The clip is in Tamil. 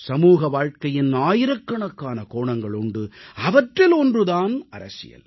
சமூக வாழ்க்கையின் ஆயிரக்கணக்கான கோணங்கள் உண்டு அவற்றில் ஒன்று தான் அரசியல்